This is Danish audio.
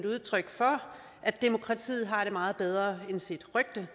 udtryk for at demokratiet har det meget bedre end sit rygte